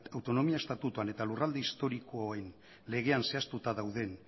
autonomia estatutoan eta lurralde historikoen legean zehaztuta dauden